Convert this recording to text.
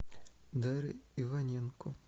дарья иваненко